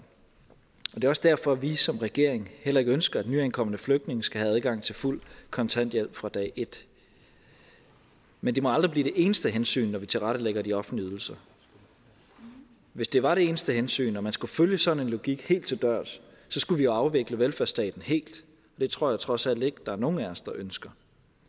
er også derfor vi som regering heller ikke ønsker at nyankomne flygtninge skal have adgang til fuld kontanthjælp fra dag et men det må aldrig blive det eneste hensyn når vi tilrettelægger de offentlige ydelser hvis det var det eneste hensyn og man skulle følge sådan en logik helt til dørs skulle vi jo afvikle velfærdsstaten helt det tror jeg trods alt ikke at der er nogen af os der ønsker